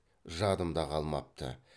жадымда қалмапты